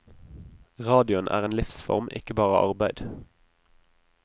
Radioen er en livsform, ikke bare arbeid.